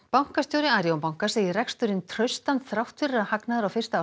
bankastjóri Arion banka segir reksturinn traustan þrátt fyrir að hagnaður á fyrsta